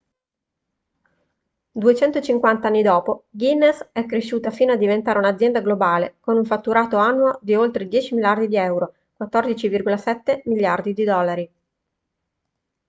250 anni dopo guinness è cresciuta fino a diventare un’azienda globale con un fatturato annuo di oltre 10 miliardi di euro 14,7 miliardi di dollari